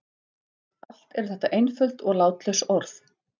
Allt eru þetta einföld og látlaus orð.